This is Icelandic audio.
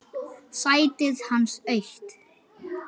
Sætið hans autt.